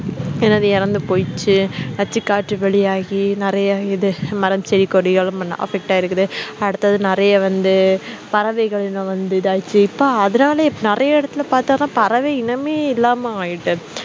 என்னது இறந்து போயிடுச்சு நச்சுக்காற்று வெளியாகி நிறைய இது மரம் செடி கொடிகளும் affect ஆயிருக்குது அடுத்தது நிறைய வந்து பறவைகள் இனம் வந்து இதாயிடுச்சு இப்ப அதனாலே இப்ப நிறைய இடத்துல பாத்தா தான் பறவை இனமே இல்லாம ஆயிட்டு